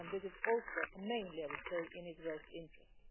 This is also mainly, I would say, in Israel's interest.